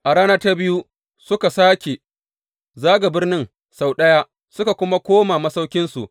A rana ta biyu suka sāke zaga birnin sau ɗaya, suka kuma koma masauƙinsu.